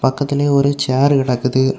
பக்கத்துலயே ஒரு சேர்ரு கேடக்குது.